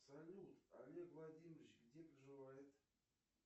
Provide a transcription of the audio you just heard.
салют олег владимирович где проживает